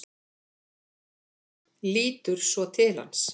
Lítur svo til hans.